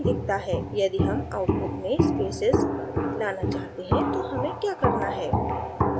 यदि हम output में spaces लाना चाहते हैं तो हमें क्या करना है